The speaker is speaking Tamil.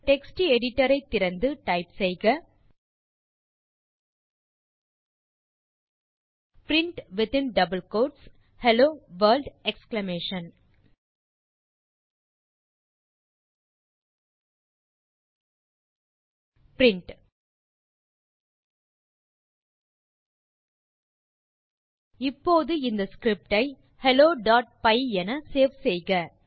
உங்கள் டெக்ஸ்ட் எடிட்டர் ஐ திறந்து டைப் செய்க print within double quotes hello world exclamation print இப்போது இந்த ஸ்கிரிப்ட் ஐ helloபை என சேவ் செய்க